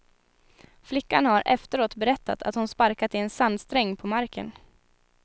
Flickan har efteråt berättat att hon sparkat i en sandsträng på marken.